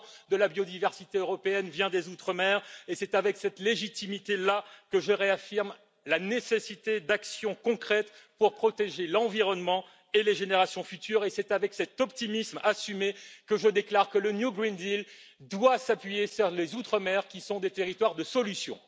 de la biodiversité européenne vient des outre mer c'est avec cette légitimité là que je réaffirme la nécessité d'actions concrètes pour protéger l'environnement et les générations futures et c'est avec cet optimisme assumé que je déclare que le pacte vert européen doit s'appuyer sur les outre mer qui sont des territoires de solutions.